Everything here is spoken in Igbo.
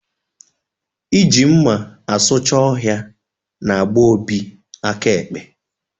Ị ji mma asucha ọhịa n'gba Obi aka ekpe